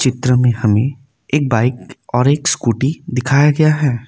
चित्र में हमें एक बाइक और एक स्कूटी दिखाया गया है।